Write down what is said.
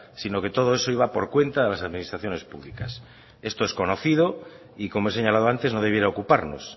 sino que todo eso iba por cuenta de las administraciones públicas esto es conocido y como he señalado antes no debiera ocuparnos